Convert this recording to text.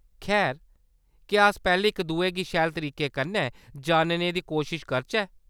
खैर, क्या अस पैह्‌‌‌लें इक दुए गी शैल तरीके कन्नै जानने दी कोशश करचै ?